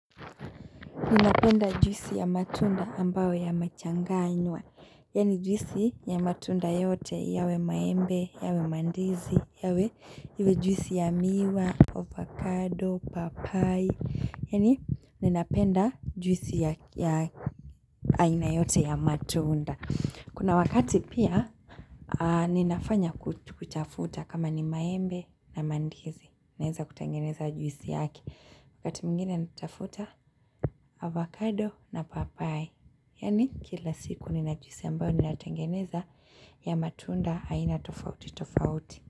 Ninapenda juisi ya matunda ambawe yamechanganywa. Yani juisi ya matunda yote yawe maembe, yawe mandizi, yawe juisi ya miwa, avocado, papai. Yani ninapenda juisi ya aina yote ya matunda. Kuna wakati pia, ninafanya kuchafuta kama ni maembe na mandizi. Naeza kutengeneza juisi yake. Kati mwingine natafuta avocado na papai Yani kila siku ninajuisi ambayo nina tengeneza ya matunda aina tofauti tofauti.